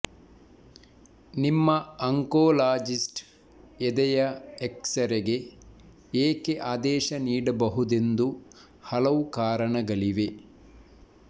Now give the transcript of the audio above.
ನಿಮ್ಮ ಆಂಕೊಲಾಜಿಸ್ಟ್ ಎದೆಯ ಎಕ್ಸರೆಗೆ ಏಕೆ ಆದೇಶ ನೀಡಬಹುದೆಂದು ಹಲವು ಕಾರಣಗಳಿವೆ